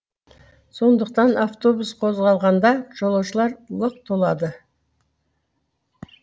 сондықтан автобус қозғалғанда жолаушылар лық толады